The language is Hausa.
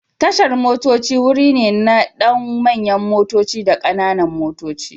Tashar motoci wuri ne na don manyan motoci da kananan motoci.